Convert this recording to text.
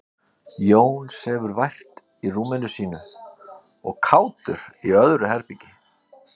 jón sefur vært í rúminu sínu og kátur í öðru herbergi